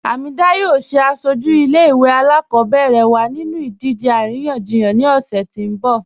Hamedah yọọ sẹ asọju ilẹ̀-ìwé alákọbẹ̀rẹ̀ wa nínú idìje aríyànjíyàn ni ọṣẹ̀ ti n bọ̀.